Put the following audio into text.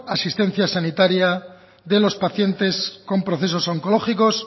asistencia sanitaria de los pacientes con procesos oncológicos